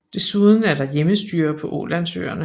Desuden er der hjemmestyre på Ålandsøerne